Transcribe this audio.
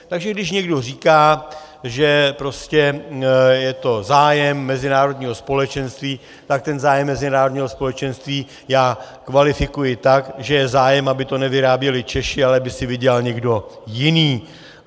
Takže když někdo říká, že prostě je to zájem mezinárodního společenství, tak ten zájem mezinárodního společenství já kvalifikuji tak, že je zájem, aby to nevyráběli Češi, ale aby si vydělal někdo jiný.